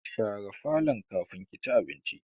Share falon kafin ki ci abinci!